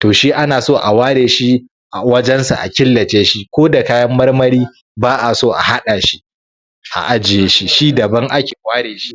to shi ana so a ware shi a wajensa a killace shi koda kayan marmari ba a so a haɗa shi a ajiye shi shi daban ake ware shi?